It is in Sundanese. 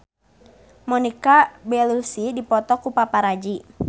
Monica Belluci dipoto ku paparazi